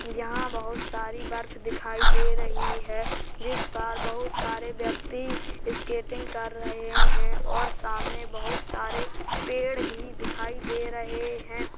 यहाँ बोहोत सारी बर्फ दिखाई दे रही है जिस पर बोहोत सारे व्यक्ति स्केटिंग कर रहे हैं और सामने बोहोत सारे पेड़ भी दिखाई दे रहे हैं।